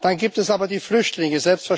Dann gibt es aber die Flüchtlinge.